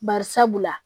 Barisabula